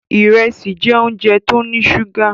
Ìrẹsì jẹ́ óúnjẹ tó ní ṣúgà.